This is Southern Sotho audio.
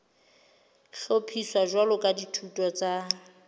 hlophiswa jwalo ka dithuto tsa